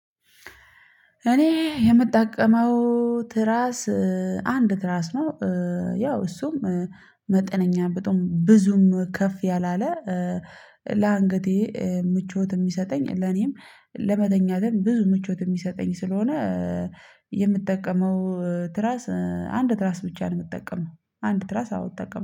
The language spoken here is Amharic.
እኔ የምጠቀመው ትራስ አንድ ትራስ ነው። ያው እሱም መጠነኛ በጣም ብዙም ከፍ ያላለ ለአንገቴ ምቾት የሚሰጠኝ ለኔም ለመተኛትም ለኔም ብዙ ምቾት የሚሰጠኝ ስለሆነ የምጠቀመው ትራስ አንድ ትራስ ብቻ ነው። የምትጠቀመው አንድ ትራስ አዎ እጠቀማለሁ